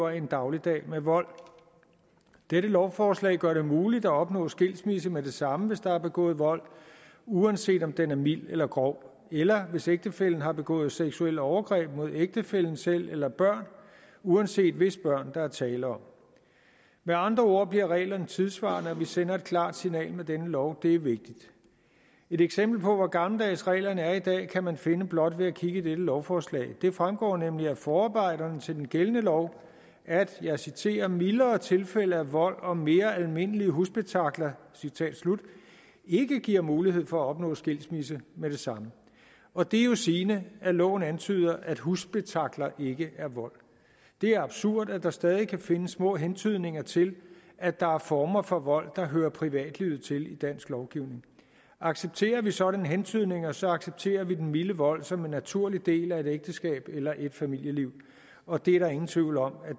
en dagligdag med vold dette lovforslag gør det muligt at opnå skilsmisse med det samme hvis der er begået vold uanset om den er mild eller grov eller hvis en ægtefælle har begået seksuelle overgreb mod ægtefælle eller børn uanset hvis børn der er tale om med andre ord bliver reglerne tidsvarende og vi sender et klart signal med denne lov det er vigtigt et eksempel på hvor gammeldags reglerne er i dag kan man finde blot ved at kigge i dette lovforslag det fremgår nemlig af forarbejderne til den gældende lov at og jeg citerer mildere tilfælde af vold og mere almindelige husspektakler citat slut ikke giver mulighed for at opnå skilsmisse med samme og det er jo sigende at loven antyder at husspektakler ikke er vold det er absurd at der stadig kan findes små hentydninger til at der er former for vold der hører privatlivet til i dansk lovgivning accepterer vi sådanne hentydninger så accepterer vi den milde vold som en naturlig del af et ægteskab eller et familieliv og det er der ingen tvivl om at